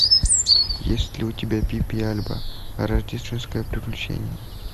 есть ли у тебя пип и альба рождественское приключение